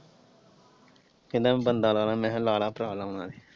ਕਹਿੰਦਾ ਹੁਣ ਬੰਦਾ ਲਾਣਾ ਮੈਂ ਕਿਹਾ ਲਾ ਲੈ ਭਰਾ ਲਾਣਾ।